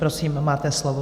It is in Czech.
Prosím, máte slovo.